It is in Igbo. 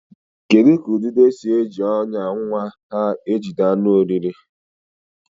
Kedu ka ududo si eji ọnyà nwa ududo ha jide anụ oriri?